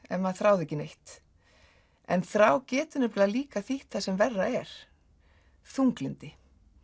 ef maður þráði ekki neitt en þrá getur líka þýtt það sem verra er þunglyndi